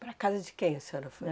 Para a casa de quem a senhora foi?